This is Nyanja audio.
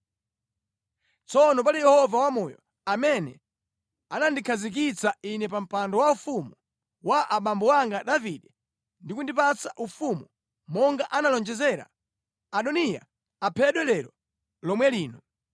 Tsono pali Yehova wamoyo, amene anandikhazikitsa ine pa mpando waufumu wa abambo anga Davide ndi kundipatsa ufumu monga analonjezera, Adoniya aphedwa lero lomwe lino!”